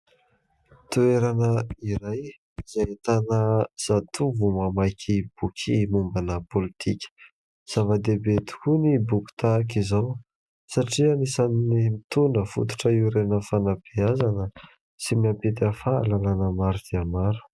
Toerana iray izay ahitana zatovo mamaky boky mombana pôlitika, zava-dehibe tokoa ny boky tahak'izao satria anisan'ny mitondra fototra iorenan'ny fanabeazana sy mampita fahalalana maro dia maro.